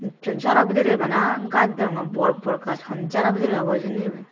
nicchoi jaro bidirey bana gaaj deyonngey borbor gaaj hon jaro bidirey obow hijeni iben.